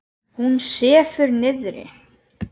Hún sefur niðri.